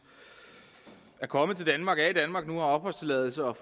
er kommet til danmark er i danmark nu og har opholdstilladelse og